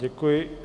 Děkuji.